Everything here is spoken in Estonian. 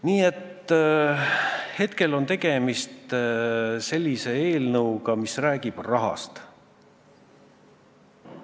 Nii et praegu on tegemist eelnõuga, mis räägib rahast.